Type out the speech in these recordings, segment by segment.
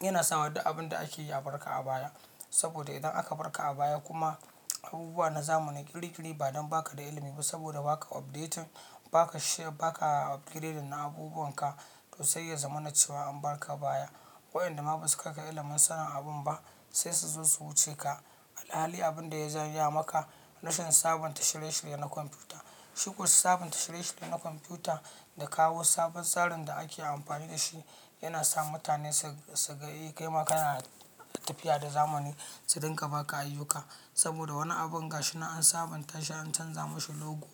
yana sawa duk abinda akeyi a barka a baya. Saboda idan aka barka a baya kuma abubuwa na zamani ƙiri ƙiri ba don baka da ilimi ba saboda baka update, baka share baka upgrade na abubuwan ka to sai ya zamanacewa an barka baya. Waɗanda ma basu kaika ilimin sanin abun ba sai suzo su wuce ka. Halli abin da ya janya maka rashin sabunta shirye-shirye na kwamfuta. Shikuwa sabunta shirye-shirye na kwamfuta da kawo sabon tsarin da ake amfani da shi yana sa mutane su, su ga kai ma kana tafiya da zamani su rinƙa baka ayyuka. Saboda wani abun gashi nan an sabunta shi an canza mashi logo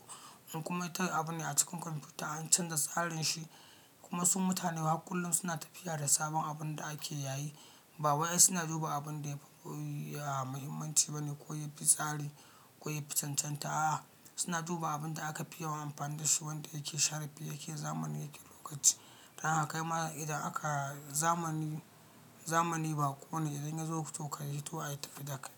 in kuma ta abune a cikin kwamfuta an canza tsarin shi kuma su mutane har kullun suna tafiya da sabon abun da ake yayi. Bawai ai suna duba abun da ya fi, ya mahimmanci bane ko ya fi tsari ko ya fi cancanta a suna duba abun da aka fi yawan amfani da shi wanda yake sharfi yake zamani yake lokaci. Don haka kai ma idan aka zamani, zamani baƙo ne idan yazo to ka hito a tafi da kai.